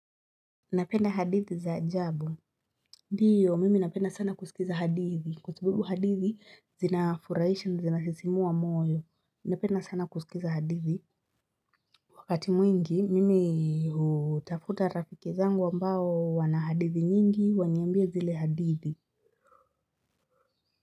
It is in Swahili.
Napenda hadithi za ajabu. Ndiyo, mimi napenda sana kusikiza hadithi. Kwa sababu hadithi, zinafurahisha na zinasisimua moyo. Napenda sana kusikiza hadithi. Wakati mwingi, mimi hutafuta rafiki zangu ambao wana hadithi nyingi, waniambie zile hadithi.